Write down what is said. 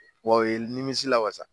Wa o ye n nimisi la wasa!